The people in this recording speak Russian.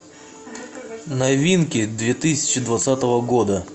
новинки две тысячи двадцатого года